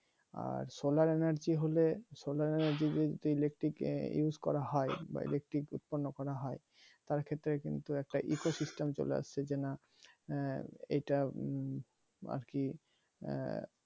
আর solar energy হলে solar energy যদি electric use করা হয় বা electric উৎপন্ন করা হয় তার ক্ষেত্রে কিন্তু একটা eco system চলে আসছে যে না আঃ এইটা আর কি আঃ